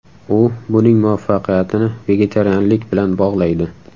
U buning muvaffaqiyatini vegetarianlik bilan bog‘laydi.